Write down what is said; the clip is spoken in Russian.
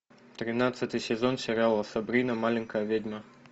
тринадцатый сезон сериала сабрина маленькая ведьма